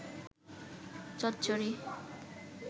চচ্চড়ি